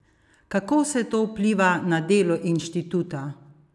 Kako vse to vpliva na delo inštituta?